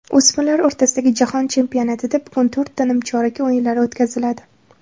O‘smirlar o‘rtasidagi jahon chempionatida bugun to‘rtta nimchorak o‘yinlari o‘tkaziladi.